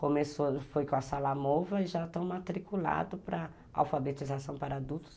Começou, foi com a Sala Mova e já estão matriculados para alfabetização para adultos.